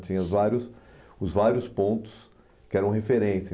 Tinha os vários os vários pontos que eram referência.